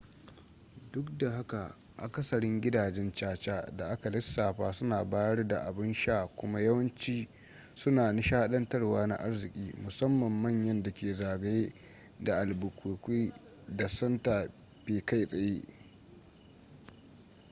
duk da haka akasarin gidajen caca da aka lissafa suna bayar da abun sha kuma yawanci suna nishadantarwa na arziki musamman manyan dake zagaye da albuquerque da santa fe kai tsaye